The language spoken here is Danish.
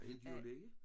Øh dyrelæge?